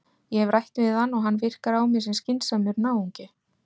Ég hef rætt við hann og hann virkar á mig sem skynsamur náungi.